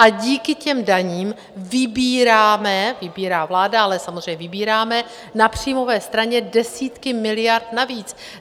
A díky těm daním vybíráme, vybírá vláda, ale samozřejmě vybíráme, na příjmové straně desítky miliard navíc!